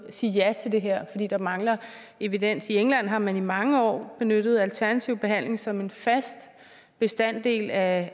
sige ja til det her fordi der mangler evidens i england har man i mange år benyttet alternativ behandling som en fast bestanddel af